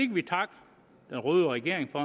vi takke den røde regering for